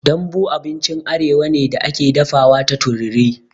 Dambu abincin arewa ne da ake dafawa ta tururi.